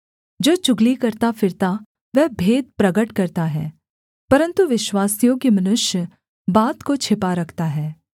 जो चुगली करता फिरता वह भेद प्रगट करता है परन्तु विश्वासयोग्य मनुष्य बात को छिपा रखता है